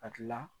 Hakilila